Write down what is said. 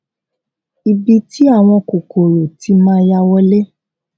ibi tí àwọn kòkòrò ti máa ya wọlé